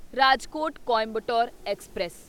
Rajkot Coimbatore express